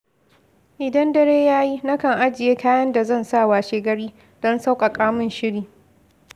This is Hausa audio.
Idan dare ya yi, na kan ajiye kayan da zan sa washegari, don sauƙaƙa min shiri.